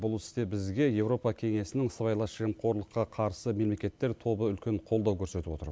бұл істе бізге еуропа кеңесінің сыбайлас жемқорлыққа қарсы мемлекеттер тобы үлкен қолдау көрсетіп отыр